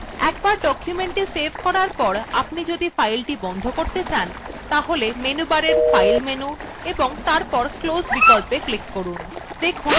একবার documentকে সেভ করার পর আপনি যদি file বন্ধ করতে চান তাহলে menu bar file menu এবং তারপর close বিকল্পে click করুন